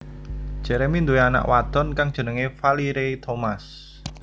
Jeremy duwé anak wadon kang jenengé Valerie Thomas